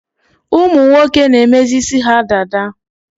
Ụmụnwoke na-emezi isi ha dada